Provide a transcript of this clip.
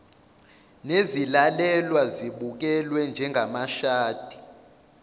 nezilalelwa zibukelwe njengamashadi